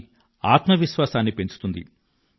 అది ఆత్మ విశ్వాసాన్ని పెంచుతుంది